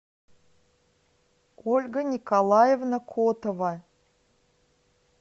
ольга николаевна котова